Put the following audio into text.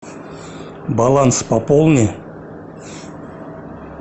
баланс пополни